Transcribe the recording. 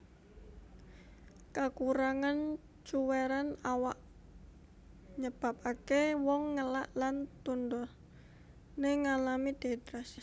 Kakurangan cuwèran awak nyebabaké wong ngelak lan tundoné ngalami dehidrasi